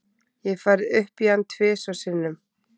Ég hef farið upp í hann tvisvar sinnum.